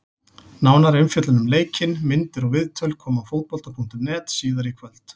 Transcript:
Nánari umfjöllun um leikinn, myndir og viðtöl koma á Fótbolta.net síðar í kvöld.